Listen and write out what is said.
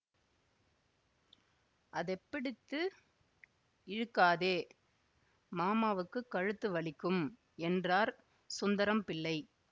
அதெப் பிடித்து இழுக்காதே மாமாவுக்கு கழுத்து வலிக்கும் என்றார் சுந்தரம் பிள்ளை